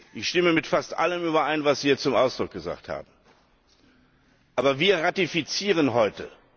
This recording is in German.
Ich stimme mit fast allem überein, was Sie jetzt hier zum Ausdruck gebracht haben. Aber wir ratifizieren heute.